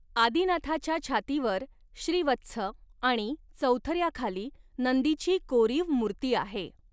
आदिनाथाच्या छातीवर श्रीवत्स आणि चौथऱ्याखाली नंदीची कोरीव मूर्ती आहे.